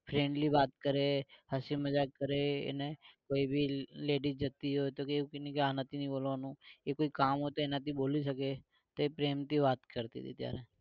friendly વાત કરે હસી મજાક કરે અને કોઈ ભી ladies જતી હોય તો ભી એવું કઈએ ને કે આનાથી નઈ બોલવાનું એ કોઈ કામ હોય તો એનાથી બોલી શકે તો એ પ્રેમ થી વાત કરતી તી પેલા